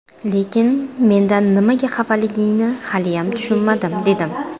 Lekin mendan nimaga xafaligingni haliyam tushunmadim, dedim.